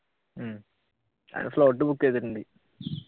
slot book